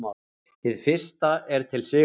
Hið fyrsta er til Sigurðar